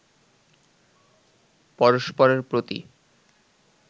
পরস্পরের প্রতি